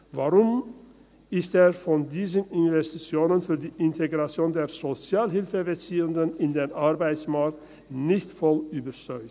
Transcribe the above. Warum ist er von diesen Investitionen für die Integration der Sozialhilfebeziehenden in den Arbeitsmarkt nicht voll überzeugt?